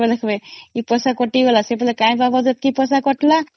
ଏ ପଇସା କଟିଗଲା କଣ ପାଇ କଟିଲା